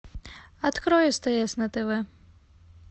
открой стс на тв